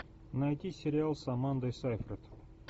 найти сериал с амандой сайфред